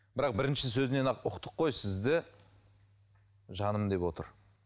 бірақ бірінші сөзінен ақ ұқтық қой сізді жаным деп отыр